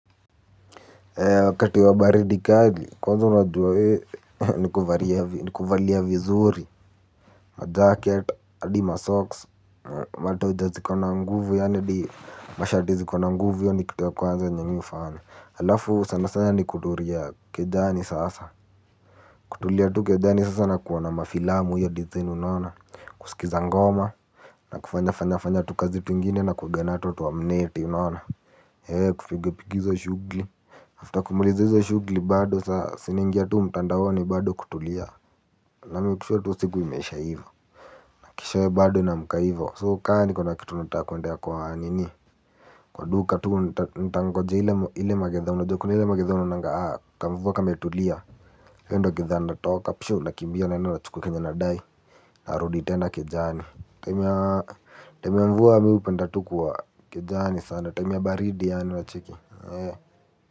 Wakati wa baridi kali kwanza unajua we ni kuvalia vizuri majacket hadi masocks matoja ziko na nguvu yanidi mashati zikona nguvu hio ni kitu ya kwanza yenye mimi hufanya halafu sana sana ni kutulia kejani sasa kutulia tu kejani sasa na kuona mafilamu hio design unaona kusikiza ngoma na kufanya fanya fanya tukazi twingine nakuwanga nato twa mneti unaona kupiga piga hizo shughuli After kumaliza hizo shughuli bado saa si naingia tu mtandaoni ado kutulia. Namake sure tu siku imeisha hivo. Keshowe bado naamka hivo so kama kuna kitu nataka kuendea kwa nini. Kwa duka tu ntangojea ile magidhaa unajua kuna ile magidha unaonanga kamvua kametulia hiyo ndo gidhaa nitatoka pshuu nakimbia naenda nachukua kenye nadai. Narudi tena kejani time ya mvua mimi hupenda tu kuwa kejani sana time ya baridi yaani unacheki.